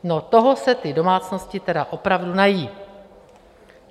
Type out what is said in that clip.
No, toho se ty domácnosti tedy opravdu nají.